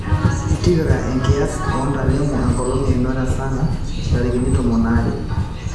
tipika enkiyas o ntalengo enkolong einoto e sarah ntarikini tomon aare